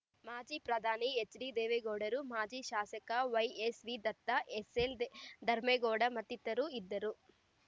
ಮಾಜಿ ಪ್ರಧಾನಿ ಎಚ್‌ಡಿ ದೇವೇಗೌಡರು ಮಾಜಿ ಶಾಸಕ ವೈಎಸ್‌ವಿ ದತ್ತ ಎಸ್‌ಎಲ್‌ ಧರ್ಮೇಗೌಡ ಮತ್ತಿತರರು ಇದ್ದರು